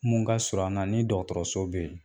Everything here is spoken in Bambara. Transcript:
Mun ka surun an na ni dɔgɔtɔrɔso bɛ yen